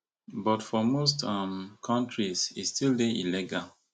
but for most um kontris e still dey illegal